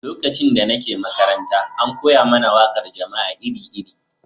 Lokacin da nake makaranta, an koya mana waƙar jama'a iri-iri.